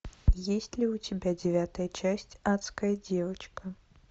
есть ли у тебя девятая часть адская девочка